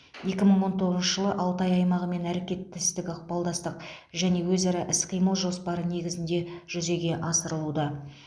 екі мың он тоғызыншы жылы алтай аймағымен әрекеттестік ықпалдастық және өзара іс қимыл жоспары негізінде жүзеге асырылуда